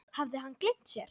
Hafði hann gleymt sér?